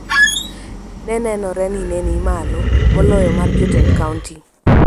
ne nenore ni ne ni malo moloyo mar jotend kaonti.